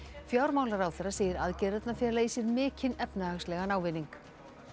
fjármálaráðherra segir aðgerðirnar fela í sér mikinn efnahagslegan ávinning